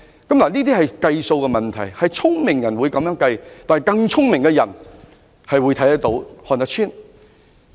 這是數字問題，聰明人會這樣計算，但更聰明的人亦能夠看得穿。